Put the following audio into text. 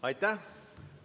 Aitäh!